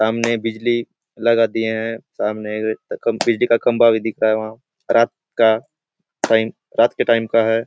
सामने बिजली लगा दिए है सामने बिजली का खम्बा भी दिख रहा है वहाँ रात का टाइम रात के टाइम का है।